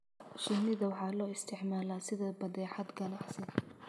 shinnida waxa loo isticmaalaa sida badeecad ganacsi.